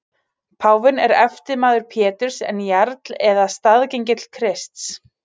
Páfinn er eftirmaður Péturs en jarl eða staðgengill Krists.